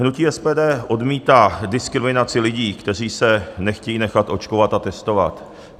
Hnutí SPD odmítá diskriminaci lidí, kteří se nechtějí nechat očkovat a testovat.